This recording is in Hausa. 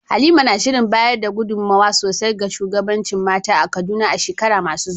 Halima na shirin bayar da gudunmawa sosai ga shugabancin mata a Kaduna a shekaru masu zuwa.